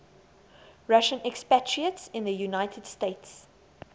russian expatriates in the united states